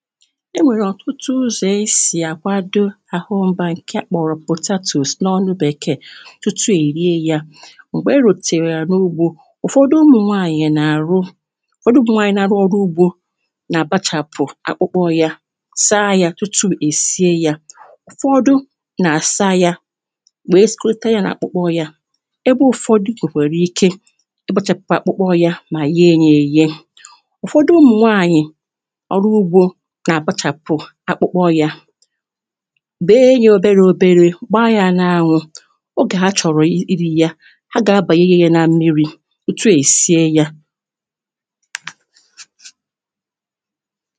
e nwèrè ọtụtụ ụzọ̀ e sì akwado ahụ́ ọ́bà ńkè a kpọ̀rọ̀ potatoes n'ọnụ Bèkè. Ọtụtụ na-erị ya mgbe ọ̀tètèrę ya n’ugbo. Ụfọdụ ụmụnwànyị na-arụ ụfọdụ ụmụnwànyị na-arụ ọrụ ụgbọ n’abachàpụ akpụkpọ ya, sa ya tupu e sìe ya. Ụfọdụ na-asa ya wee sịkọrọta ya n’akpụkpọ ya ebe ụfọdụ kwèkwàrà ikè ịkpụchapụ akpụkpọ ya ma èye ya èyé. Ụfọdụ ụmụnwànyị ọrụ ụgbọ n’abachàpụ akpụkpọ ya, be ya ọbèrè ọbèrè, gba ya n’anwụ. Ọgẹ̀ ha chọ̀rọ̀ ịrị ya, ha ga-abànyèye ya ná mmịrị tupu e sìe ya.